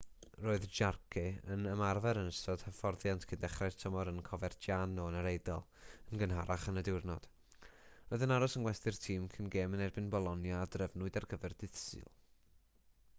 roedd jarque yn ymarfer yn ystod hyfforddiant cyn dechrau'r tymor yn coverciano yn yr eidal yn gynharach yn y diwrnod roedd yn aros yng ngwesty'r tîm cyn gêm yn erbyn bolonia a drefnwyd ar gyfer dydd sul